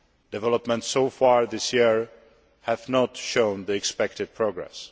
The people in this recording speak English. Developments so far this year have not shown the expected progress.